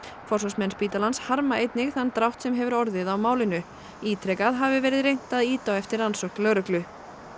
forsvarsmenn spítalans harma einnig þann drátt sem hefur orðið á málinu ítrekað hafi verið reynt að ýta á eftir rannsókn lögreglu